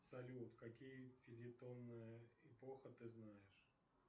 салют какие фельетоны эпоха ты знаешь